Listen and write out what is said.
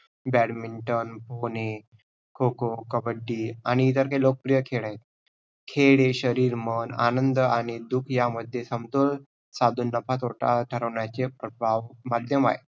badminton, kho-kho, kabaddi आणि हे सगळे लोकप्रिय खेळ आहेत. खेळ हे शरीर, मन, आनंद आणि दुःख ह्यामध्ये समतोल साधून नफा तोटा ठरवण्याचे प्र~ माध्यम आहे.